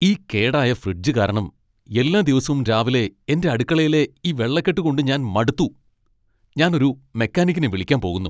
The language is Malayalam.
ഈ കേടായ ഫ്രിഡ്ജ് കാരണം എല്ലാ ദിവസവും രാവിലെ എന്റെ അടുക്കളയിലെ ഈ വെള്ളക്കെട്ട് കൊണ്ട് ഞാൻ മടുത്തു ! ഞാൻ ഒരു മെക്കാനിക്കിനെ വിളിക്കാൻ പോകുന്നു .